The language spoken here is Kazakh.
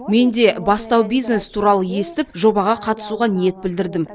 мен де бастау бизнес туралы естіп жобаға қатысуға ниет білдірдім